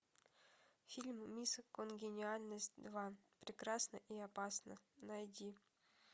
фильм мисс конгениальность два прекрасна и опасна найди